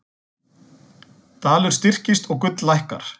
Dalur styrkist og gull lækkar